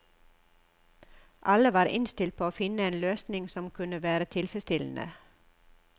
Alle var innstilt på å finne en løsning som kunne være tilfredsstillende.